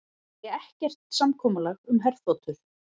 Segja ekkert samkomulag um herþotur